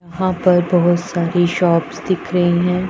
वहां पर बहुत सारी शॉप्स दिख रही है।